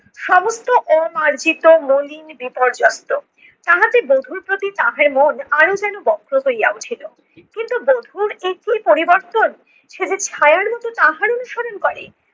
সমস্ত অমার্জিত, মলিন, বিপর্যস্ত। তাহাতে বধূর প্রতি তাহার মন আরো যেন বক্র হইয়া উঠিলো। কিন্তু বধূর এ কী পরিবর্তন! সে যে ছায়ার মতো তাহারই অনুসরণ করে।